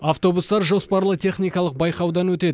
автобустар жоспарлы техникалық байқаудан өтеді